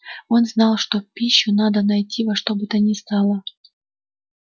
он знал что пищу надо найти во что бы то ни стало